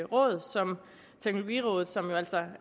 råd som teknologirådet som jo altså